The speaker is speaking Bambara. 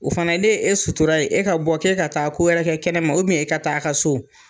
O fana ne ye e suturara e ka bɔ k'e ka taa ko yɛrɛ kɛ kɛnɛ ma e ka taa a ka so